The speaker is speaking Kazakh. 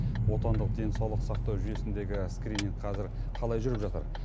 отандық денсаулық сақтау жүйесіндегі скрининг қазір қалай жүріп жатыр